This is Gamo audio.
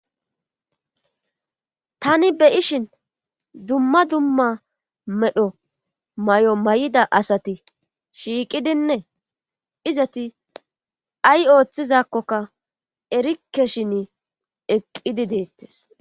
Tani beyishin dumma dumma medho may7o may7ida asati shiiqidine izati ay ooththizakkoka erike shin eqqidi deettes